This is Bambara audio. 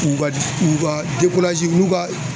U ka u ka n'u ka